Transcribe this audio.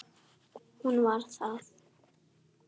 Hún var það.